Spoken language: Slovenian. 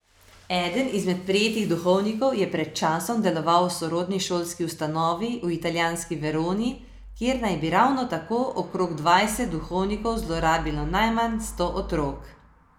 Eden izmed prijetih duhovnikov je pred časom deloval v sorodni šolski ustanovi v italijanski Veroni, kjer naj bi ravno tako okrog dvajset duhovnikov zlorabilo najmanj sto otrok.